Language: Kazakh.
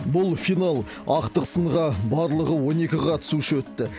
бұл финал ақтық сынға барлығы он екі қатысушы өтті